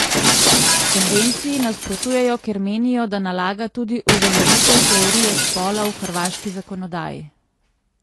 Konvenciji nasprotujejo, ker menijo, da nalaga tudi uveljavitev teorije spola v hrvaški zakonodaji.